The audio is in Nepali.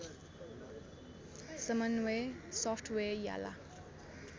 समन्वय सफ्टवेयर याला